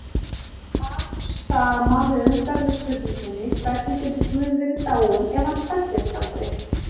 Svar sama höfundar við spurningunni Hvernig getur Guð verið dáinn ef hann fæddist aldrei?